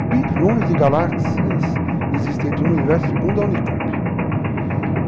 bilhões de galáxias existentes no universo segundo a Unicamp.